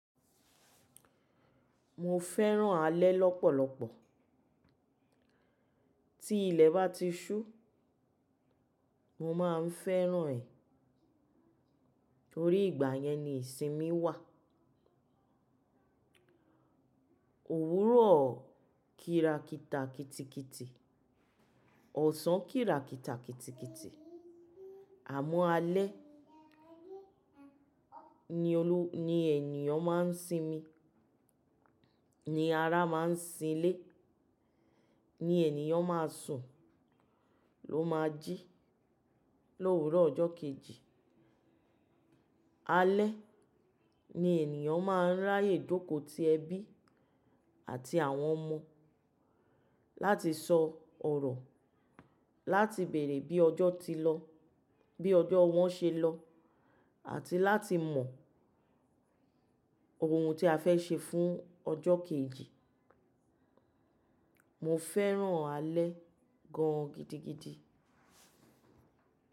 Mo fẹ́ràn alẹ́ lọ́pọ̀lọpọ̀. Tí ilẹ̀ bá ti ṣú, mo máa ń fẹ́ràn ẹ̀. Orí ìgbà yẹn ni ìsinmi wà. Òwúrọ̀ kíra kita kitikiti, ọ̀sán kíra kita kitikiti, àmọ́ alẹ́ ni ẹniyan máa ń sinmi, ni ara máa ń sinlẹ̀, ni ènìyàn máa sùn, ló máa jí lówuró ọjọ́ kejì. Alẹ́ ni ènìyàn máa ń ráyè jóko ti ẹbí àti àwọn ọmọ láti sọ ọ̀rọ̀, láti bèrè bí ọjọ́ ti lọ, bí ọjọ́ wọn ṣe lọ àti láti mọ ohun tí a fẹ́ ṣe fún ọjọ́ kejì. Mo fẹ́ràn alẹ́ gan-an gidigidi.